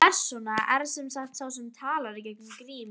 Persóna er sem sagt sá sem talar í gegnum grímu.